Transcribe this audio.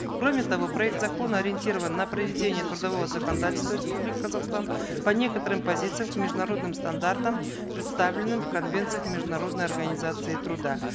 кроме того проект закона ориентирован на проведение трудового законодательства республики казахстан по некоторым позициям международным стандартам представленным в конвенциях международной организации труда